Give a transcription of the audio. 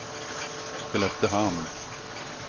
Skelleftehamn